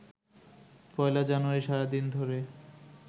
পয়লা জানুয়ারি সারা দিন ধরে